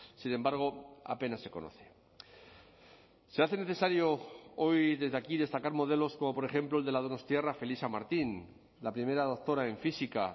sin embargo apenas se conoce se hace necesario hoy desde aquí destacar modelos como por ejemplo el de la donostiarra felisa martín la primera doctora en física